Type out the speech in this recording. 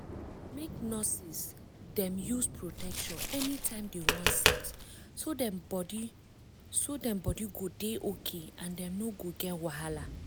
make nurses dem use protection anytime dem wan sex so dem body so dem body go dey okay and dem no go get wahala.